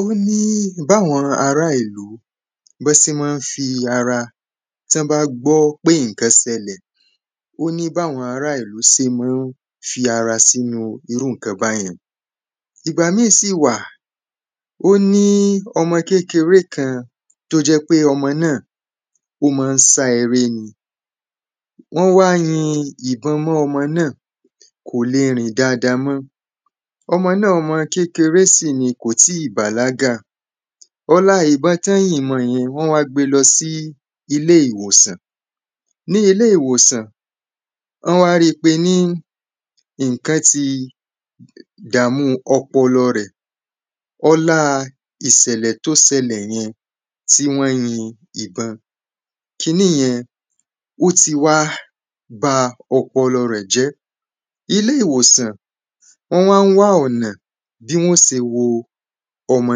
óní báwọn ará ìlú bọ́ sé má ń fí ara tọ́ bá gbọ́ pé ǹkan ṣẹlẹ̀ óní báwọn ará ìlú se má ń fi ara sínu irú ǹkan báyẹn ìgbà mí sí wà óní ọmọ kékeré kan tó jẹ́ pé ọmọ náà ó má ń sá eré ni wọ́n wá yìn ìbọn mọ́ ọmọ náà kò le ri n dada mọ́ ọmọ náà ọmọ kékeré sì ni kò tí bàlágà ọlá ìbọn tọ́n yìn mọ yẹn wọ́n wá gbe lọ sí ilé ìwòsàn ni ilé ìwòsàn ọ́ wá ripe ní ǹkán ti dàámu ọpọlọ̀ rẹ̀ ọláa ìsẹ̀lè tó sẹlẹ̀ yẹn tí wọ́n yin ìbọn kiní yẹn ó ti wá ba ọpọlọ̀ rẹ̀ jẹ́ ilé ìwòsàn wọ́n wá ń wá ọ̀nà bí wọ́n se wo ọmọ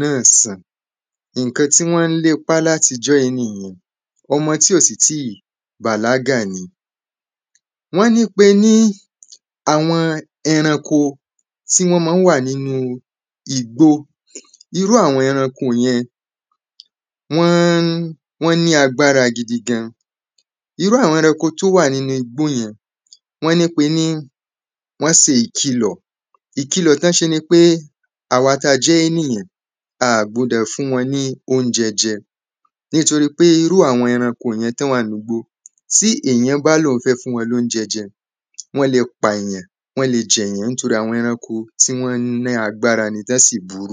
náà san iǹkan tí wọ́n le pá láti ijọ́ yí nìyẹn ọmọ tí ò sì tí bàlágà ni wọ́n ní pe ní àwọn eranko tí wọ́n ma ń wà nínu igbó irú àwọn eranko wọ́n ní agbára gidi gan irú àwọn eranko tó wà nínu igbó yẹn wọ́n ní pe ní wọ́n se ìkìlọ̀ ìkilọ̀ tọ́n ṣe nipé àwa ta jẹ́ énìyàn à gbudọ̀ fún wọn ní óunjẹ jẹ nitori pe iru àwọn eranko tí èyan bá lóun fẹ́ fún wọn lóunjẹ jẹ wọ́n le pa èyàn wọ́n le jẹ èyàn torí àwọn eranko ti wọ́n ní agbára ni tọ́n sì burú